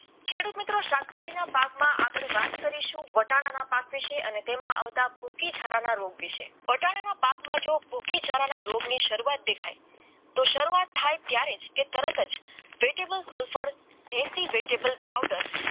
વાત કરીશું વટાણા ના પાક વિશે અને તેમાં આવતા છાનાના રોગ વિશે વટાણાના પાકમાં જુઓ કી ઝાલાના રોગની વિશે દેખાય તો શરૂઆત થાય ત્યાં તે તરત જ વેટેબલ સલ્ફર અઠસો બે એવેટેબલ પાવડર